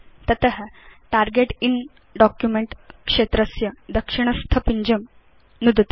तत target in document क्षेत्रस्य दक्षिणस्थ पिञ्जं नुदतु